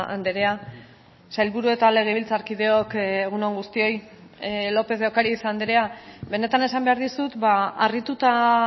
andrea sailburu eta legebiltzarkideok egun on guztioi lópez de ocariz andrea benetan esan behar dizut harrituta